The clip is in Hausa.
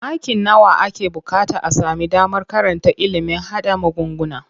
Maki nawa ake buƙata a sami damar karanta ilimin haɗa magunguna?